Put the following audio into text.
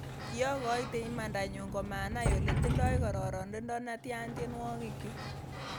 'Kiogoite imandanyun komanai ole tindoi kororonindo netian tienwogikyuk,"